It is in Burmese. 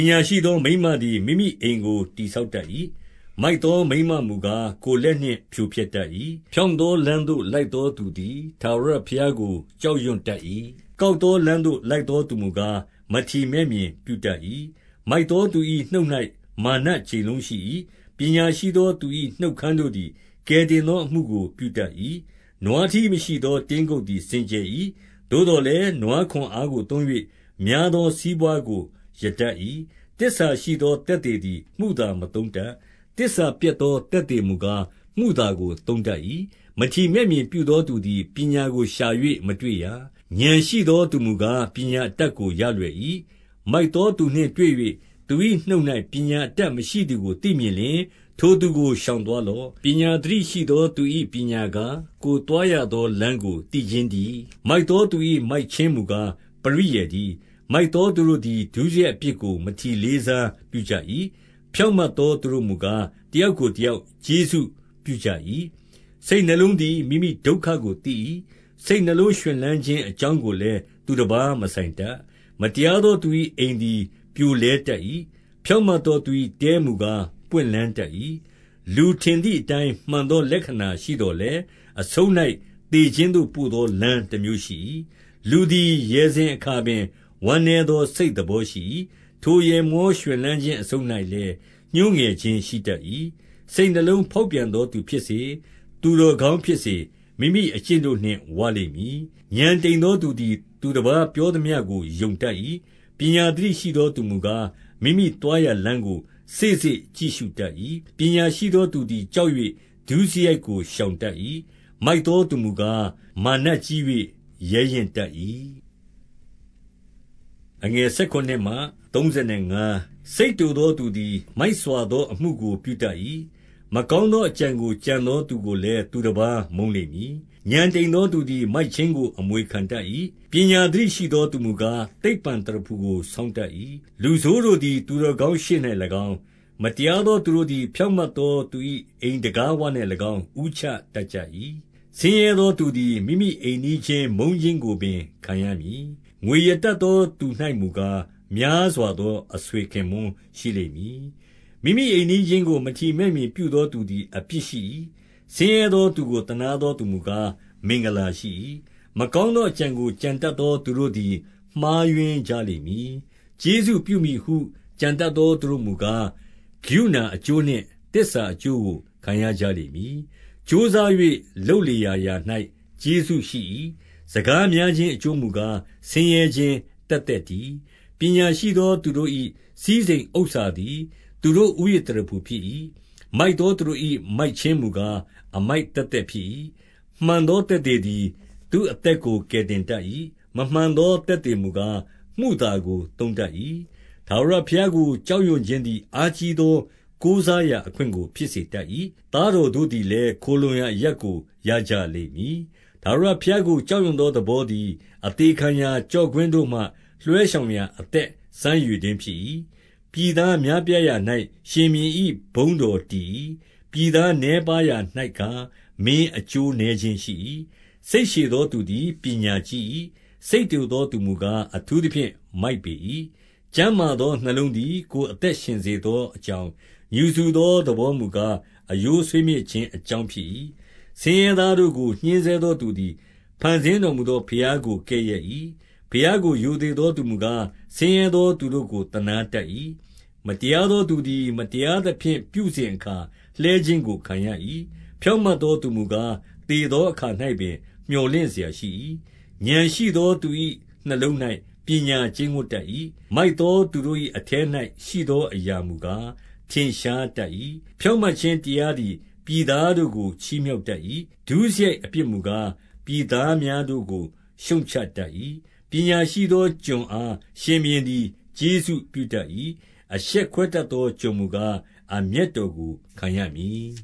ညာရှိသောမိန်းမသည် မိမိအိမ်ကို တည် ဆောက်တတ်၏။ မိုက်သောမိန်းမမူကား၊ ကိုယ်လက်နှင့် ဖြိုဖျက်တတ်၏။ 2 ဖြောင့်သောလမ်းသို့လိုက်သောသူသည် ထာဝရ ဘုရားကို ကြောက်ရွံ့တတ်၏။ ကောက်သောလမ်းသို့ လိုက်သောသူမူကား၊ မထီမဲ့မြင်ပြုတတ်၏။ 3 မိုက်သောသူ၏ နှုတ်၌မာနကြိမ်လုံးရှိ၏။ ပညာ ရှိသောသူ၏ နှုတ်ခမ်းတို့သည် ကယ်တင်သောအမှုကို ပြုတတ်၏။ 4 နွားထီးမရှိသော တင်းကုပ်သည် စင်ကြယ်၏။ သို့သော်လည်း၊ နွားခွန်အားကိုသုံး၍ များသောစီးပွားကို ရတတ်၏။ 5 သစ္စာရှိသောသက်သေသည် မုသာမသုံးတတ်။ သစ္စာပျက်သော သက်သေမူကား၊ မုသာကိုသုံးတတ်၏။ 6 မထီမဲ့မြင်ပြုသောသူသည် ပညာကိုရှာ၍ မတွေ့ရာ။ ဥာဏ်ရှိသောသူမူကား၊ ပညာအတတ်ကို ရလွယ်၏။ 7 မိုက်သောသူနှင့်တွေ့၍ သူ၏နှုတ်၌ ပညာ အတတ်မရှိသည်ကို သိမြင်လျှင်၊ ထိုသူကို ရှောင်သွား လော့။ 8 ပညာသတိရှိသော သူ၏ပညာကား၊ ကိုယ်သွား ရသော လမ်းကို သိခြင်းတည်း။ မိုက်သောသူ၏ မိုက်ခြင်း မူကား၊ ပရိယာယ်တည်း။ 9 မိုက်သောသူတို့သည် ဒုစရိုက်အပြစ်ကို မထီ လေးစားပြုကြ၏။ ဖြောင့်မတ်သော သူတို့မူကား၊ တယောက်ကိုတယောက် ကျေးဇူးပြုကြ၏။ 10 စိတ်နှလုံးသည် မိမိဒုက္ခကို သိ၏။ စိတ်နှလုံး ရွှင်လန်းခြင်း အကြောင်းကိုလည်း သူတပါးမဆိုင်တတ်။ 11 မတရားသောသူ၏အိမ်သည် ပြိုလဲတတ်၏။ ဖြောင့်မတ်သော သူ၏တဲမူကား၊ ပွင့်လန်းတတ်၏။ 12 လူထင်သည်အတိုင်း မှန်သောလက္ခဏာရှိသော် လည်း၊ အဆုံး၌ သေခြင်းသို့ပို့သော လမ်းတမျိုးရှိ၏။ 13 လူသည် ရယ်စဉ်အခါပင်၊ ဝမ်းနည်းသော စိတ် သဘောရှိ၏။ ထိုရယ်မောရွှင်လန်းခြင်းအဆုံး၌လည်း ညှိုးငယ်ခြင်းရှိတတ်၏။ 14 စိတ်နှလုံးဖေါက်ပြန်သောသူဖြစ်စေ၊ သူတော် ကောင်းဖြစ်စေ၊ မိမိအကျင့်တို့နှင့်ဝလိမ့်မည်။ 15 ဥာဏ်တိမ်သော သူသည်သူတပါး ပြောသမျှကို ယုံတတ်၏။ ပညာသတိရှိသောသူမူကား၊ မိမိသွားရာ လမ်းကို စေ့စေ့ကြည့်ရှုတတ်၏။ 16 ပညာရှိသောသူသည် ကြောက်၍ ဒုစရိုက်ကို ရှောင်တတ်၏။ မိုက်သောသူမူကား မာနကြီး၍ ရဲရင့် တတ်၏။ 17 စိတ်တိုသောသူသည် မိုက်စွာသောအမှုကို ပြုတတ်၏။ မကောင်းသောအကြံကို ကြံသောသူကိုလည်း သူတပါးမုန်းလိမ့်မည်။ 18 ဥာဏ်တိမ်သော သူသည်မိုက်ခြင်းကို အမွေခံ တတ်၏။ ပညာသတိရှိသောသူမူကား၊ သိပ္ပံသရဖူကို ဆောင်းတတ်၏။ 19 လူဆိုးတို့သည် သူတော်ကောင်းရှေ့၌၎င်း၊ မတရားသောသူတို့သည် ဖြောင့်မတ်သောသူ၏ အိမ် တံခါးဝ၌၎င်း ဦးချတတ်ကြ၏။ 20 ဆင်းရဲသောသူသည် မိမိအိမ်နီးချင်း မုန်းခြင်း ကိုပင် ခံရမည်။ ငွေရတတ်သောသူ၌မူကား၊ များစွာ သော အဆွေခင်ပွန်းရှိလိမ့်မည်။ 21 မိမိအိမ်နီးချင်းကို မထီမဲ့မြင်ပြုသော သူသည် အပြစ်ရှိ၏။ ဆင်းရဲသော သူကိုသနားသောသူမူကား၊ မင်္ဂလာရှိ၏။ 22 မကောင်းသော အကြံကိုကြံတတ်သော သူတို့ သည် မှားယွင်းကြလိမ့်မည်။ ကျေးဇူးပြုမည်ဟု ကြံတတ် သောသူတို့မူကား၊ ကရုဏာအကျိုး နှင့်သစ္စာအကျိုးကို ခံရကြလိမ့်မည်။ 23 ကြိုးစား၍ လုပ်လေရာရာ၌ကျေးဇူးရှိ၏။ စကား များခြင်းအကျိုးမူကား၊ ဆင်းရဲခြင်းသက်သက်တည်း။ 24 ပညာရှိသောသူတို့၏ စည်းစိမ်ဥစ္စာသည် သူတို့ ဦးရစ်သရဖူဖြစ်၏။ မိုက်သောသူတို့၏ မိုက်ခြင်းမူကား၊ အမိုက်သက်သက်ဖြစ်၏။ 25 မှန်သောသက်သေသည် သူ့အသက်ကို ကယ် တင်တတ်၏။ မမှန်သောသက်သေမူကား၊ မုသာကို သုံးတတ်၏။ 26 ထာဝရဘုရားကို ကြောက်ရွံ့ခြင်းသည် အားကြီး သော ကိုးစားရာအခွင့်ကိုဖြစ်စေတတ်၏။ သားတော်တို့ သည်လည်း ၊ ခိုလှုံရာအရပ်ကို ရကြလိမ့်မည်။ 27 ထာဝရဘုရားကို ကြောက်ရွံ့သောသဘောသည် အသေခံရာ ကျော့ကွင်းတို့မှ လွှဲရှောင်ရာအသက် စမ်းရေ တွင်းဖြစ်၏။ 28 ပြည်သားများပြားရာ၌ ရှင်ဘုရင်၏ဘုန်းတော် တည်၏။ ပြည်သားနည်းပါးရာ၌ကား၊ မင်းအကျိုးနည်း ခြင်းရှိ၏။ 29 စိတ်ရှည်သောသူသည် ပညာကြီး၏။ စိတ်တို သောသူမူကား၊ အထူးသဖြင့် မိုက်ပေ၏။ 30 ကျန်းမာသောနှလုံးသည် ကိုယ်အသက်ရှင်စေ သောအကြောင်း၊ ငြူစူသော သဘောမူကား၊ အရိုး ဆွေးမြေ့ခြင်းအကြောင်းဖြစ်၏။ 31 ဆင်းရဲသားတို့ကို ညှဉ်းဆဲသောသူသည် ဖန် ဆင်းတော်မူသော ဘုရားကိုကဲ့ရဲ့၏။ ဘုရားကို ရိုသေ သောသူမူကား၊ ဆင်းရဲသောသူတို့ကို သနားတတ်၏။ 32 မတရားသောသူသည် မတရားသဖြင့် ပြုစဉ် အခါ၊ လှဲခြင်းကို ခံရ၏။ ဖြောင့်မတ်သောသူမူကား၊ သေသောအခါ၌ပင် မြော်လင့်စရာရှိ၏။ 33 ဥာဏ်ရှိသောသူ၏ နှလုံး၌ပညာကျိန်းဝပ်တတ် ၏။ မိုက်သောသူတို့၏အထဲ၌ ရှိသောအရာမူကား၊ ထင်ရှားတတ်၏။ 34 ဖြောင့်မတ်ခြင်းတရားသည် ပြည်သားတို့ကို ချီးမြှောက်တတ်၏။ ဒုစရိုက်အပြစ်မူကား၊ ပြည်သားများ တို့ကို ရှုတ်ချတတ်၏။ 35 ပညာရှိသော အကျွန်အားရှင်ဘုရင်သည် ကျေးဇူးပြုတတ်၏။ အရှက်ခွဲတတ်သော ကျွန်မူကား၊ အမျက်တော်ကို ခံရမည်